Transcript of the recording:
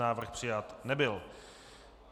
Návrh přijat nebyl.